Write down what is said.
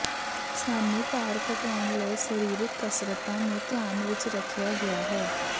ਸਾਨੂੰ ਭਾਰ ਘਟਾਉਣ ਲਈ ਸਰੀਰਕ ਕਸਰਤਾਂ ਨੂੰ ਧਿਆਨ ਵਿੱਚ ਰੱਖਿਆ ਗਿਆ ਹੈ